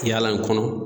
Yala in kɔnɔ